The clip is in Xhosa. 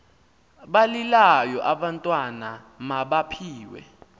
balilayo abantwana mabaphiwe